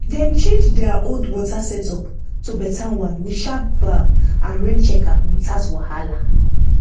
dem change their old water setup to better one with sharp valve and rain checker without wahala